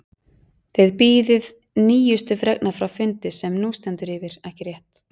Þið bíðið nýjustu fregna frá fundi sem nú stendur yfir, ekki rétt?